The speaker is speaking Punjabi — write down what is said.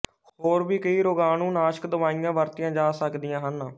ਹੋਰ ਵੀ ਕਈ ਰੋਗਾਣੂਨਾਸ਼ਕ ਦਵਾਈਆਂ ਵਰਤੀਆਂ ਜਾ ਸਕਦੀਆਂ ਹਨ